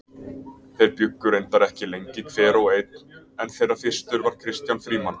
Þeir bjuggu reyndar ekki lengi hver og einn en þeirra fyrstur var Kristján Frímann.